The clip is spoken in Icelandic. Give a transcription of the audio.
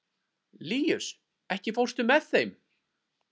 Líus, ekki fórstu með þeim?